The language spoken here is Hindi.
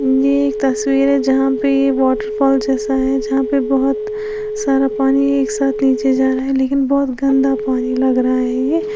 ये एक तस्वीर है जहां पे ये वॉटरफॉल जैसा है जहां पे बहोत सारा पानी एक साथ नीचे जा रहा है लेकिन बहोत गंदा पानी लग रहा है ये।